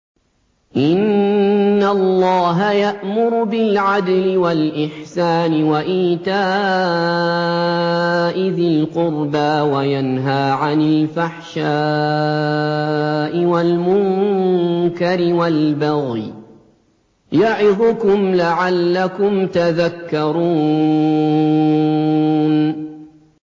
۞ إِنَّ اللَّهَ يَأْمُرُ بِالْعَدْلِ وَالْإِحْسَانِ وَإِيتَاءِ ذِي الْقُرْبَىٰ وَيَنْهَىٰ عَنِ الْفَحْشَاءِ وَالْمُنكَرِ وَالْبَغْيِ ۚ يَعِظُكُمْ لَعَلَّكُمْ تَذَكَّرُونَ